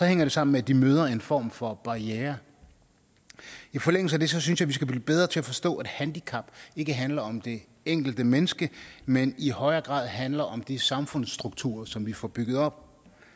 hænger det sammen med at de møder en form for barriere i forlængelse af det synes jeg at vi skal blive bedre til at forstå at handicap ikke handler om det enkelte menneske men i højere grad handler om de samfundsstrukturer som vi får bygget op